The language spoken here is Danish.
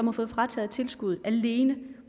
har fået frataget tilskuddet alene